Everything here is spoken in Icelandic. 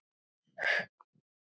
Alveg upp úr þurru?